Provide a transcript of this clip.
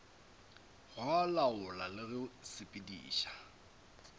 go laola le go sepediša